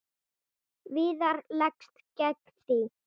Viðar leggst gegn því.